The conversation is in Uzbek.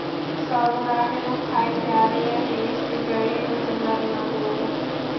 Sobir Rahimov haykali yana eski joyiga ko‘chiriladigan bo‘ldi.